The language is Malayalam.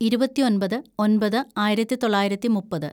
ഇരുപത്തിയൊമ്പത് ഒന്‍പത് ആയിരത്തിതൊള്ളായിരത്തി മുപ്പത്‌